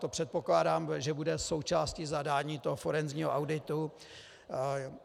To předpokládám, že bude součástí zadání toho forenzního auditu.